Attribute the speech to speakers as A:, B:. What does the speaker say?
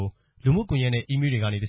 A: ု လူမှုကွန်ရက်နဲ့ အီးမေးလ်တွေကနေတ